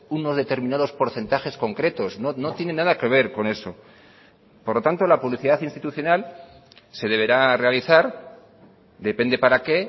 unos determinados porcentajes concretos no tiene nada que ver con eso por lo tanto la publicidad institucional se deberá realizar depende para qué